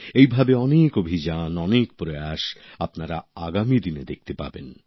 এইভাবে অনেক অভিযান অনেক প্রয়াস আপনারা আগামী দিনে দেখতে পাবেন